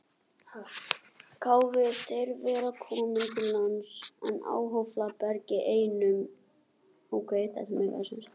Kváðust þeir vera komnir til landsins í hálfopinberum erindum.